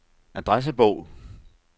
adressebog